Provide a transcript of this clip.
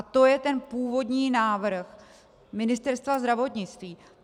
A to je ten původní návrh Ministerstva zdravotnictví.